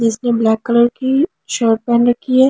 जिसने black colour की shirt पहन रखी है।